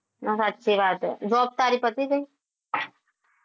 ના સાચી વાત હ job તારી પતિ જઈ?